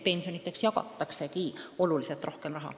Pensionideks eraldatakse märksa rohkem raha.